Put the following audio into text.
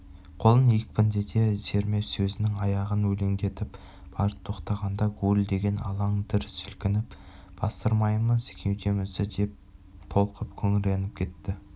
қолын екпіндете сермеп сөзінің аяғын өлеңдетіп барып тоқтағанда гуілдеген алаң дүр сілкініп бастырмаймыз кеудемізді деп толқып күңіреніп кетті